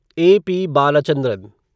A. P. Balachandran